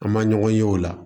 An ma ɲɔgɔn ye o la